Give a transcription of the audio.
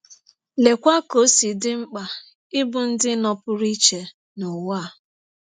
Leekwa ka ọ si dị mkpa ịbụ ndị nọpụrụ iche n’ụwa a!